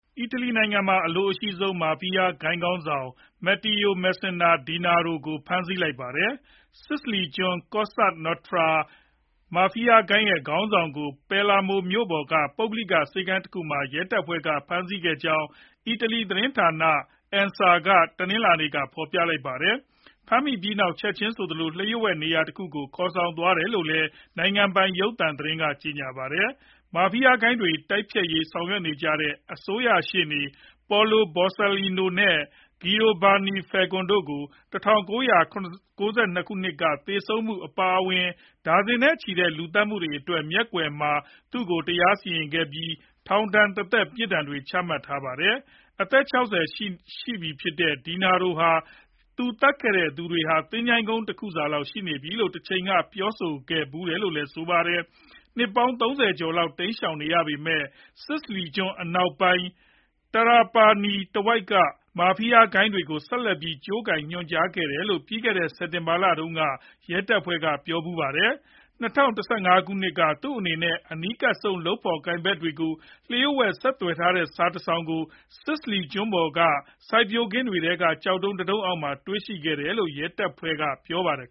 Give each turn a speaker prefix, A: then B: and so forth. A: အီတလီနိုင်ငံမှာအလိုအရှိဆုံး မာဖီးယားဂိုဏ်းခေါင်းဆောင် Matteo Messina Denaro ကို ဖမ်းဆီးလိုက်ပါတယ်။ စစ္စလီကျွန်းက Cosa Nostra မာဖီးယားဂိုဏ်းရဲ့ခေါင်းဆောင်ကို Palermo မြို့ပေါ်က ပုဂ္ဂိုလိကဆေးခန်းတခုမှာ ရဲတပ်ဖွဲ့ကဖမ်းမိခဲ့ကြောင်း အီတလီသတင်းဌာန ANSA က တနင်္လာနေ့က ဖော်ပြလိုက်ပါတယ်။ ဖမ်းမိပြီးနောက် ချက်ခြင်းဆိုသလို လျှို့ဝှက်နေရာတခုကို ခေါ်ဆောင်သွားတယ်လို့လည်း နိုင်ငံပိုင်ရုပ်သံသတင်းက ကြေညာပါတယ်။ မာဖီးယားဂိုဏ်းတွေတိုက်ဖျက်ရေး ဆောင်ရွက်ခဲ့ကြတဲ့အစိုးရရှေ့နေ Paolo Borsellino နဲ့ Giovanni Falcone တို့ ၁၉၉၂ ခုနှစ်က သေဆုံးခဲ့မှုအပါအဝင် ဒါဇင်နဲ့ချီရှိတဲ့လူသတ်မှုတွေအတွက် Matteo Messina Denaro ကို မျက်ကွယ်မှာ တရားစီရင်ခဲ့ပြီး ထောင်ဒဏ်တသက် ပြစ်ဒဏ်တွေကျခံထားရတာပါ။ အသက် ၆ဝ ရှိပြီဖြစ်တဲ့ Denaro ဟာ သူသတ်ခဲ့တဲ့သူတွေဟာ သင်္ချိုင်းကုန်းတခုစာလောက် ရှိတယ်ဆိုပြီး တချိန်က ပြောခဲ့ဖူးတယ်လို့လည်း ဆိုပါတယ်။ နှစ်ပေါင်း ၃ဝ လောက် တိမ်းရှောင်နေရပေမဲ့ စစ္စလီကျွန်းအနောက်ပိုင်း Trapani တဝိုက်က မာဖီးယားဂိုဏ်းတွေကို ဆက်လက်ပြီး ကြိုးကိုင်ညွှန်ကြားခဲ့တယ်လို့ ပြီးခဲ့တဲ့ စက်တင်ဘာလတုန်းက ရဲတပ်ဖွဲ့က ပြောဖူးပါတယ်။ ၂ဝ၁၅ ခုနှစ်က သူနဲ့ အနီးကပ်ဆုံ လုပ်ဖော်ကိုင်ဖက်တွေကို လျှို့ဝှက်ဆက်သွယ်ထားတဲ့စာတစောင်ကို စစ္စလီကျွန်းပေါ်က စိုက်ပျိုးခင်းတွေထဲက ကျောက်တုံးတတုံးအောက်မှာ တွေ့ခဲ့ရတယ်လို့ ရဲတပ်ဖွဲ့က ပြောပါတယ်